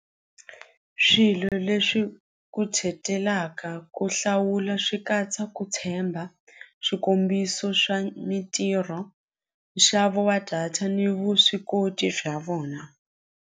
Swilo leswi ku hlawula swi katsa ku tshemba swikombiso swa mintirho nxavo wa data ni vuswikoti bya vona.